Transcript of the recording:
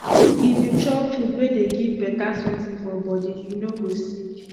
if you chop food wey dey give beta something for body you no go sick